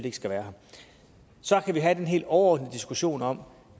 ikke skal være her så kan vi have den helt overordnede diskussion om